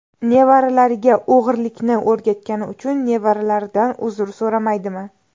Nevaralariga o‘g‘irlikni o‘rgatgani uchun nevaralaridan uzr so‘ramaydimi?